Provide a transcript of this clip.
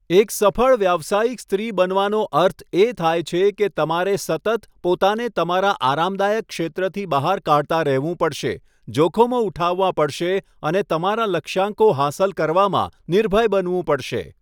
એક સફળ વ્યાવસયિક સ્ત્રી બનવાનો અર્થ એ થાય છે કે તમારે સતત પોતાને તમારા આરામદાયક ક્ષેત્રથી બહાર કાઢતા રહેવું પડશે, જોખમો ઉઠાવવાં પડશે અને તમારા લક્ષ્યાંકો હાંસલ કરવામાં નિર્ભય બનવું પડશે.